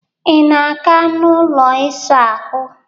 Ị na-aga n'ụlọ ịsa ahụ?